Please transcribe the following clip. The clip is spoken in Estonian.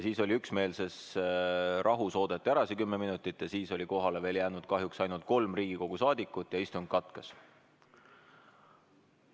Siis oodati üksmeelses rahus kümme minutit ära ja siis oli kohale jäänud kahjuks ainult kolm Riigikogu saadikut ja istung katkes.